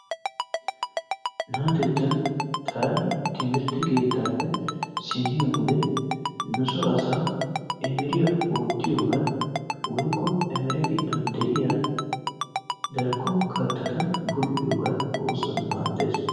Naatettan taani timmirtte keettaappe simmiyode nu soo saa emeriyaa oottiyoogan woykko emere giddon de'iyaa darkko kattata bull'iyogan oosuwan maaddays.